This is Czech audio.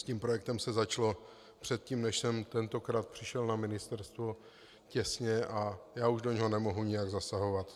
S tím projektem se začalo předtím, než jsem tentokrát přišel na ministerstvo, těsně, a já už do něho nemohu jinak zasahovat.